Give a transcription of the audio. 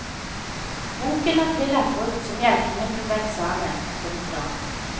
Boken er tillatt brukt som hjelpemiddel ved eksamen. punktum